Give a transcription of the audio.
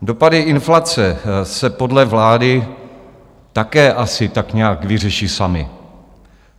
Dopady inflace se podle vlády také asi tak nějak vyřeší samy.